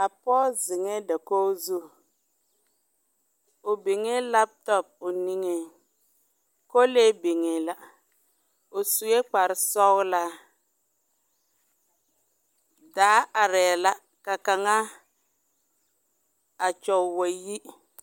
A pͻge zeŋԑԑ dakogi zu. O biŋee laapotͻpo o niŋeŋ, kolee biŋee la. O sue kpare sͻgelaa. Daa arԑԑ la ka kaŋa a kyͻge wa yi.